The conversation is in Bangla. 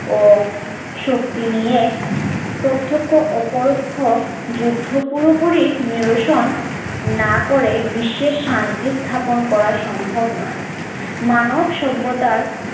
ও শক্তি নিয়ে প্রত্যক্ষ ও পরোক্ষ যুদ্ধ পুরোপুরি নিরসন না করে বিশ্বের শান্তি স্থাপন করা সম্ভব নয় মানব সভ্যতার